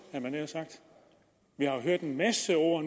vi har hørt en masse ord